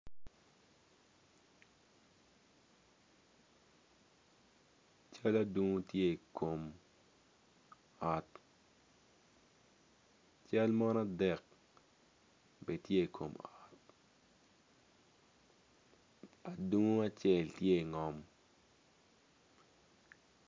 Cal adungo tye i kom ot cal mon adek bene tye i kom ot adungu acel ttye ingom.